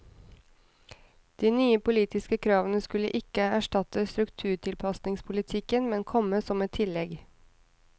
De nye politiske kravene skulle ikke erstatte strukturtilpasningspolitikken, men komme som et tillegg.